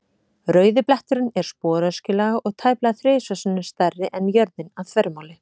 Rauði bletturinn er sporöskjulaga og tæplega þrisvar sinnum stærri en jörðin að þvermáli.